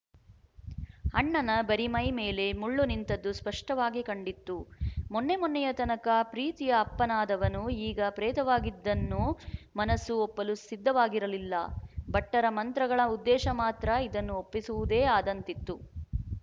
ಅಣ್ಣನ ಬರಿಮೈ ಮೇಲೆ ಮುಳ್ಳು ನಿಂತದ್ದು ಸ್ಪಷ್ಟವಾಗಿ ಕಂಡಿತ್ತು ಮೊನ್ನೆ ಮೊನ್ನೆಯ ತನಕ ಪ್ರೀತಿಯ ಅಪ್ಪನಾದವನು ಈಗ ಪ್ರೇತವಾಗಿದ್ದನ್ನು ಮನಸ್ಸು ಒಪ್ಪಲು ಸಿದ್ಧವಾಗಿರಲಿಲ್ಲ ಭಟ್ಟರ ಮಂತ್ರಗಳ ಉದ್ದೇಶ ಮಾತ್ರ ಇದನ್ನು ಒಪ್ಪಿಸುವುದೇ ಆದಂತಿತ್ತು